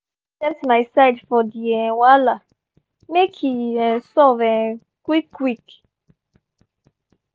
i don accept my side for di um wahala make e um solve um quick quick.